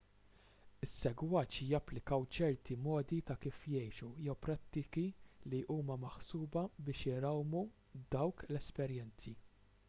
is-segwaċi japplikaw ċerti modi ta' kif jgħixu jew prattiki li huma maħsuba biex irawmu dawk l-esperjenzi